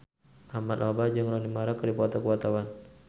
Ahmad Albar jeung Rooney Mara keur dipoto ku wartawan